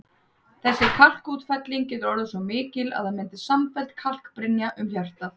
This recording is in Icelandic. Þessi kalkútfelling getur orðið svo mikil að það myndist samfelld kalkbrynja um hjartað.